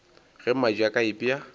ge mmadi a ka ipea